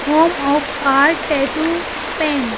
home of art tattoo paint --